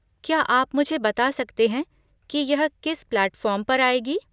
क्या आप मुझे बता सकते हैं कि यह किस प्लैटफॉर्म पर आएगी?